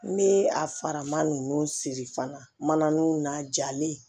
Ni a faraman ninnu siri fana man jalen